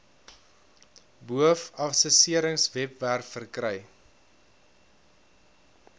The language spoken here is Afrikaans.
boov assesseringswebwerf verkry